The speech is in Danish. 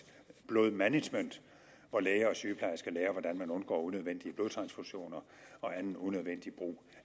blodmanagement hvor læger og sygeplejersker skal lære hvordan man undgår unødvendige blodtransfusioner og anden unødvendig brug